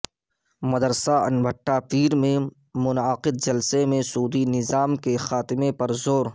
مدرسہ انبہٹہ پیر میں منعقد جلسہ میں سودی نظام کے خاتمہ پر زور